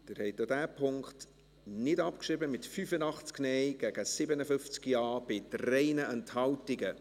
Sie haben auch diesen Punkt nicht abgeschrieben, mit 85 Nein- gegen 57 Ja-Stimmen bei 3 Enthaltungen.